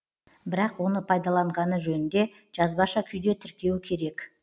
бірақ оны пайдаланғаны жөнінде жазбаша күйде тіркеу керек